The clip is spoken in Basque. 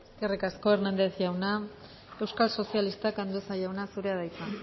eskerrik asko hernández andrea euskal sozialistak andueza jauna zurea da hitza